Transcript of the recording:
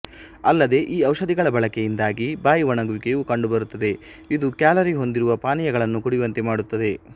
ಅಲ್ಲದೆ ಈ ಔಷಧಿಗಳ ಬಳಕೆಯಿಂದಾಗಿ ಬಾಯಿ ಒಣಗುವಿಕೆಯೂ ಕಂಡುಬರುತ್ತದೆ ಇದು ಕ್ಯಾಲರಿಹೊಂದಿರುವ ಪಾನೀಯಗಳನ್ನು ಕುಡಿಯುವಂತೆ ಮಾಡುತ್ತದೆ